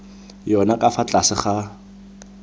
yona ka fa tlase ga